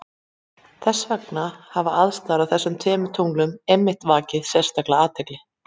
Þess vegna hafa aðstæður á þessum tveimur tunglum einmitt vakið sérstaka athygli.